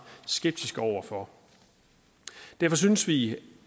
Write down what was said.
skeptiske over for derfor synes vi